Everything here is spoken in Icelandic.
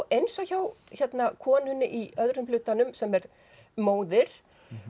eins og hjá konunni í öðrum hlutanum sem er móðir